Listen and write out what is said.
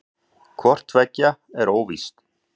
Hvort tveggja er óvíst.